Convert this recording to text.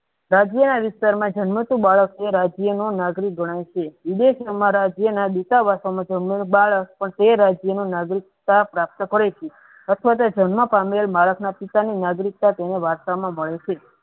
રાજ્યના વિચારણા જન્મતું બાળક એ રાજ્યનો નાગરિક ગણાય છે ઉડેજ ઉમા રાજ્યના બિટાવા તેમનું બાળક તે રાજ્યનું નાગરિકતા પ્રાપ્ત કરે છે એટલે જ જન્મ પામેલ બાળકના પિતાની નાગરિકતા તેને વારસા માં મળે છે.